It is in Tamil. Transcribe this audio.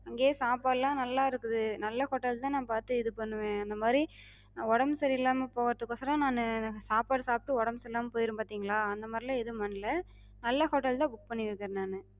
அங்கயே சாப்பாடுலா நல்லா இருக்குது. நல்ல hotel தா நாப் பாத்து இது பண்ணுவே. அந்த மாரி ஒடம்பு சரி இல்லாம போகறதுக்கொசரோ நானு சாப்பாடு சாப்டு ஒடம்பு சரில்லாம போயிரு பாத்திங்களா, அந்த மாரிலா எது பண்ணல. நல்ல hotel தா book பண்ணிருக்குறே நானு.